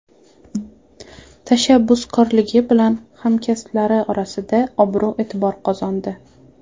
Tashabbuskorligi bilan hamkasblari orasida obro‘-e’tibor qozondi.